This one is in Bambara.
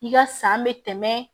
I ka san bɛ tɛmɛ